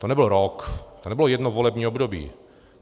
To nebyl rok, to nebylo jedno volební období.